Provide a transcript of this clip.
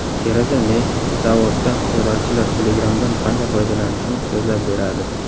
Tereza Mey Davosda terrorchilar Telegram’dan qanday foydalanishini so‘zlab beradi.